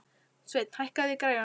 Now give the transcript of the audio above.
Sveinn, hækkaðu í græjunum.